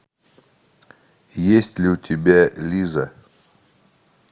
есть ли у тебя лиза